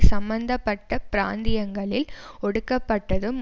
சம்பந்த பட்ட பிராந்தியங்களில் ஒடுக்கப்பட்டதும்